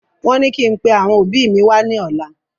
Wón ní kí n pẹ àwọn òbí mi wá ní ọ̀la